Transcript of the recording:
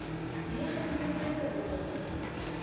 negatiewe punte behaal